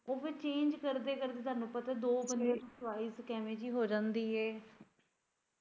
ਉਹ ਫੇਰ change ਕਰਦੇ ਕਰਦੇ ਤੁਹਾਨੂੰ ਪਤਾ ਦੋ ਬੰਦਿਆਂ ਦੀ choice ਪਤਾ ਨੀ ਕਿਵੇਂ ਦੀ ਹੋ ਜਾਂਦੀ ਆ।